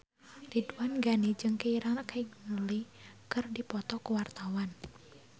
Ridwan Ghani jeung Keira Knightley keur dipoto ku wartawan